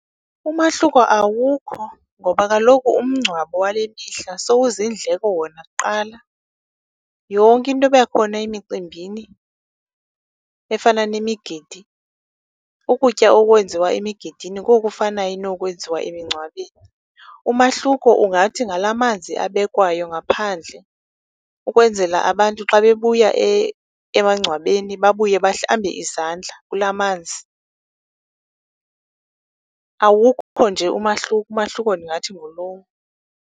Umahluko awukho, ngoba kaloku umngcwabo wale mihla sowuzindleko wona kuqala. Yonke into eba khona emicimbini efana nemigidi, ukutya okwenziwa emigidini koku kufanayo noku kwenziwa emingcwabeni. Umahluko ungathi ngalaa manzi abekwayo ngaphandle ukwenzela abantu xa bebuya emangcwabeni babuye bahlambe izandla kulaa manzi. Awukho nje umahluko, umahluko ndingathi ngulowo.